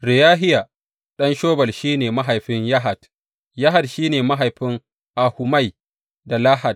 Reyahiya ɗan Shobal shi ne mahaifin Yahat, Yahat shi ne mahaifin Ahumai da Lahad.